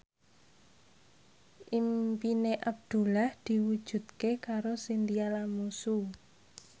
impine Abdullah diwujudke karo Chintya Lamusu